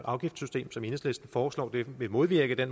afgiftssystem som enhedslisten foreslår vil modvirke det